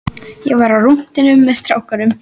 Ég var á rúntinum með strákunum.